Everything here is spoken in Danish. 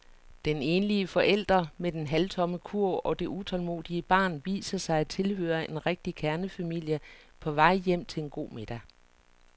Den enlige forælder med den halvtomme kurv og det utålmodige barn viser sig at tilhøre en rigtig kernefamilie på vej hjem til en god middag.